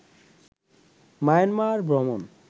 Myanmar ভ্রমণ